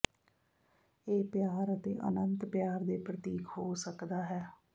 ਇਹ ਪਿਆਰ ਅਤੇ ਅਨੰਤ ਪਿਆਰ ਦੇ ਪ੍ਰਤੀਕ ਹੋ ਸਕਦਾ ਹੈ